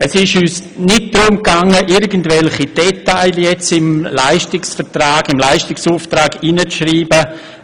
Es ist uns nicht darum gegangen, irgendwelche Details in den Leistungsauftrag hineinzuschreiben.